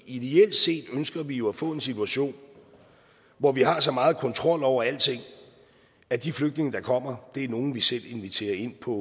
ideelt set ønsker vi jo at få en situation hvor vi har så meget kontrol over alting at de flygtninge der kommer er nogle vi selv inviterer ind på